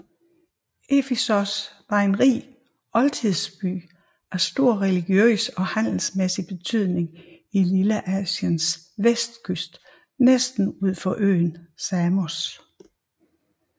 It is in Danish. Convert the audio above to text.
Efesos var en rig oldtidsby af stor religiøs og handelsmæssig betydning på Lilleasiens vestkyst næsten ud for øen Samos